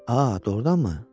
A, doğurdanmı?